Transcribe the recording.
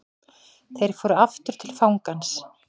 Þeir fóru aftur til fangans.